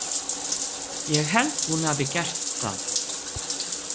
Ég held að hún hafi gert það.